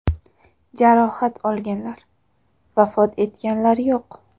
Jarohat olganlar, vafot etganlar yo‘q.